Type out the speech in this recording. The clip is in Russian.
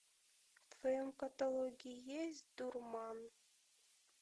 в твоем каталоге есть дурман